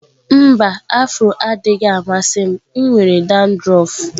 Mba, afro adịghị m amasị m nwere dandruff